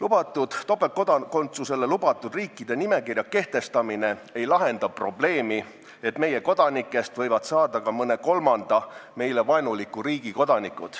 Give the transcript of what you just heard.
Nende riikide nimekirja kehtestamine, kellega on topeltkodakondsus lubatud, ei lahenda probleemi, sest meie kodanikest võivad saada ka mõne kolmanda, meile vaenuliku riigi kodanikud.